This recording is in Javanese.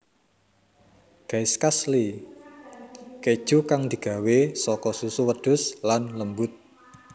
Gaiskasli Keju kang digawé saka susu wedhus lan lembut